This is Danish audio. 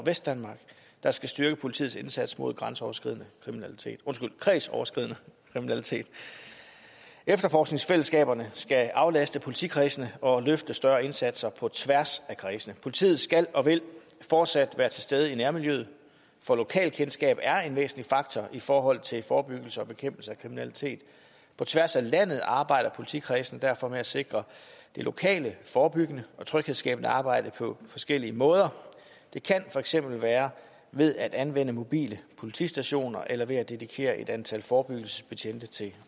vestdanmark der skal styrke politiets indsats mod kredsoverskridende kriminalitet kredsoverskridende kriminalitet efterforskningsfællesskaberne skal aflaste politikredsene og løfte større indsatser på tværs af kredsene politiet skal og vil fortsat være til stede i nærmiljøet for lokalt kendskab er en væsentlig faktor i forhold til forebyggelse og bekæmpelse af kriminalitet på tværs af landet arbejder politikredsene derfor med at sikre det lokale forebyggende og tryghedsskabende arbejde på forskellige måder det kan for eksempel være ved at anvende mobile politistationer eller ved at dedikere et antal forebyggelsesbetjente til